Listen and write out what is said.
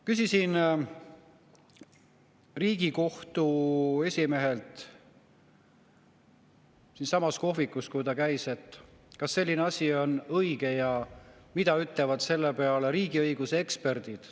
Küsisin Riigikohtu esimehelt siinsamas kohvikus, kui ta meil käis, kas selline asi on õige ja mida ütlevad selle peale riigiõiguse eksperdid.